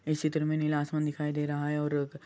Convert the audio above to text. इस सीतर मै नीला आसमान दिखाई दे रहा है और रुक --